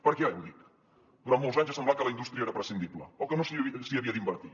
per què ho dic durant molts anys ha semblat que la indústria era prescindible o que no s’hi havia d’invertir